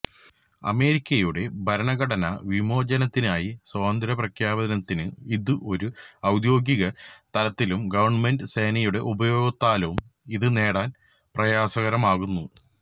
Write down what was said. അമേരിക്കയുടെ ഭരണഘടനാ വിമോചനത്തിനായി സ്വാതന്ത്ര്യപ്രഖ്യാപനത്തിന് ഇത് ഒരു ഔദ്യോഗിക തലത്തിലും ഗവൺമെന്റ് സേനയുടെ ഉപയോഗത്താലും ഇത് നേടാൻ പ്രയാസകരമാക്കുന്നു